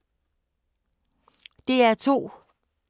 DR2